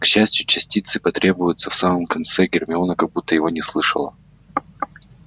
к счастью частицы потребуются в самом конце гермиона как будто его не слышала